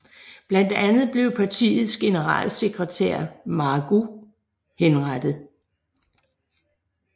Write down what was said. Blandt andet blev partiets generalsekretær Mahgoub henrettet